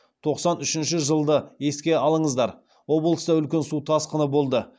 тоқсан үшінші жылды еске алыңыздар облыста үлкен су тасқыны болды